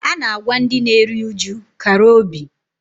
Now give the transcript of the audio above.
A na-agwa ndị na-eri uju "kara obi"